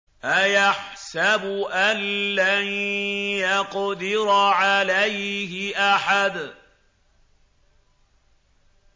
أَيَحْسَبُ أَن لَّن يَقْدِرَ عَلَيْهِ أَحَدٌ